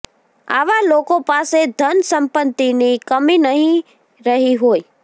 આવા લોકો પાસે ધન સંપત્તિની કમી નહીં રહી હોય